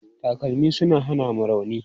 Takalmi suna hana mu rauni.